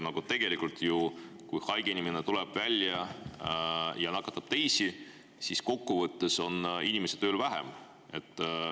Aga tegelikult, kui haige inimene tuleb ja nakatab teisi, siis kokkuvõttes on inimesi tööl vähem.